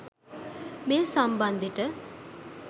මේ සම්බන්දෙට.